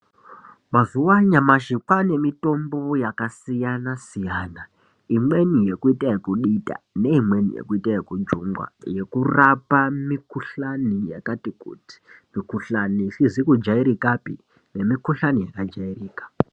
Mazuva anyamashi kwane mitombo yakasiyana siyana imweni yekuita yekuita yeku dita neimwe yekuita yeku jungwa yekurapa mukuhlani yakati kuti mikuhlani isizi kujairikapi nemi kuhlani yaka jairika .